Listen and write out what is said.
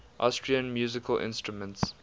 austrian musical instruments